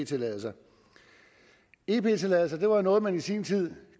tilladelser ep tilladelser var noget som man i sin tid